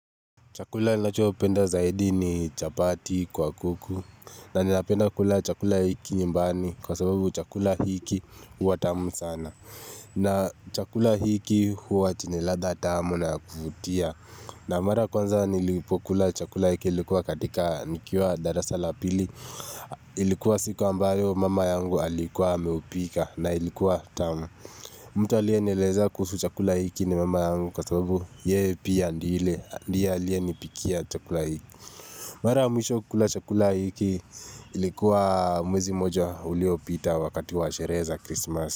Chakula lacho penda zaidi ni chapati kwa kuku na ninapenda kula chakula hiki nyumbani kwa sababu chakula hiki uwa tamu sana na chakula hiki huwa chenye latha tamu na kufutia na mara kwanza nilipokula chakula hiki ilikuwa katika nikiwa darasa la pili Ilikuwa siku ambayo mama yangu alikuwa ameupika na ilikuwa tamu mtu alianieleza kusu chakula hiki ni mama yangu kwa sababu yee pia ndile ndie aliye nipikia chakula hiki mara mwisho kukula chakula hiki ilikuwa mwezi moja ulio pita wakati wa shereza kristmas.